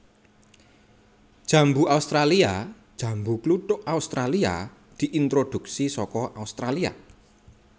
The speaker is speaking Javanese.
Jambu australia Jambu kluthuk Australia diintroduksi saka Australia